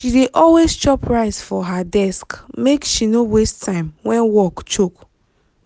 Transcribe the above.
she dey always chop rice for her desk make she no waste time when work choke.